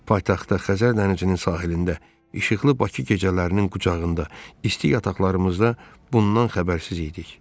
Paytaxtda Xəzər dənizinin sahilində, işıqlı Bakı gecələrinin qucağında, isti yataqlarımızda bundan xəbərsiz idik.